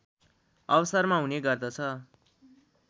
अवसरमा हुने गर्दछ